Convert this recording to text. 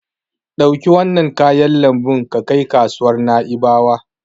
Ɗauki wannan kayan lambun ka kai kasuwar Na'ibawa.